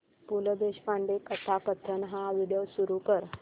पु ल देशपांडे कथाकथन हा व्हिडिओ सुरू कर